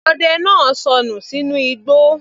Ọdẹ náà sọnù sínú igbó